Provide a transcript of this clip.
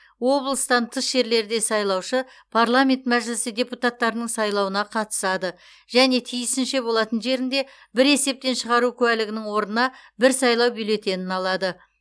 облыстан тыс жерлерде сайлаушы парламент мәжілісі депутаттарының сайлауына қатысады және тиісінше болатын жерінде бір есептен шығару куәлігінің орнына бір сайлау бюллетенін алады